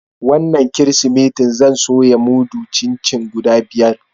Wanan kiristimeti zan soya mudun chin-chin guda biyar.